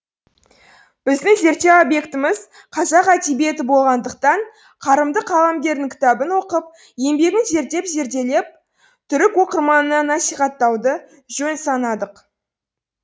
біздің зерттеу объектіміз қазақ әдебиеті болғандықтан қарымды қаламгердің кітабын оқып еңбегін зерттеп зерделеп түрік оқырманына насихаттауды жөн санадық